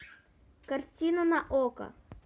картина на окко